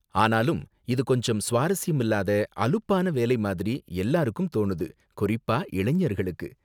ஆனாலும், இது கொஞ்சம் சுவாரஸ்யமில்லாத அலுப்பான வேலை மாதிரி எல்லாருக்கும் தோணுது, குறிப்பா இளைஞர்களுக்கு.